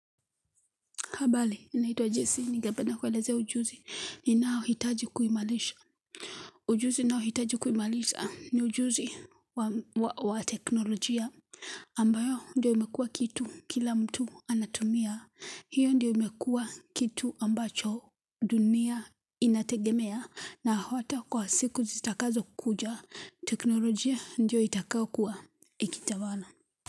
Habari, naitwa JC, ningependa kuelzea ujuzi ni nao hitaji kuimarisha. Ujuzi nao hitaji kuimalisha ni ujuzi wa teknolojia ambayo ndio imekua kitu kila mtu anatumia. Hiyo ndio imekua kitu ambacho dunia inategemea na hata kwa siku zitakazo kuja. Teknolojia ndio itakayo kuwa ikitawala.